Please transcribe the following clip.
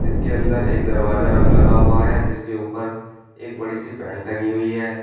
इसके अंदर एक दरवाजा रग लगा हुआ है जिसके ऊपर एक बड़ी सी पैंट टंगी हुई है।